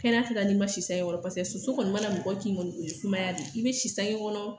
Kɛnɛya tɛ kɛ n'i ma si sange kɔrɔ soso kɔni mana mɔgɔ kin kɔni o ye sumaya de ye i bɛ sange kɔrɔ